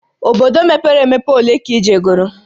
Obodo mepere emepe ole ka ị jegoro?